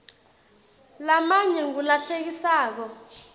lamanye ngulahlekisako